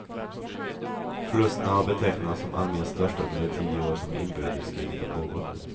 Förlusterna har betecknats som armens största under de tio år som inbördeskriget har pågått.